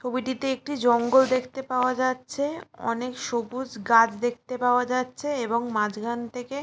ছবিটিতে একটি জঙ্গল দেখতে পাওয়া যাচ্ছে। অনেক সবুজ গাছ দেখতে পাওয়া যাচ্ছে এবং মাজখান থেকে ।